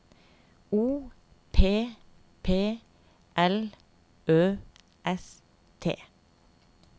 O P P L Ø S T